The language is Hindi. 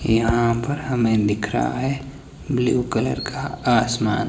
यहां पर हमें दिख रहा है ब्लू कलर का आसमान--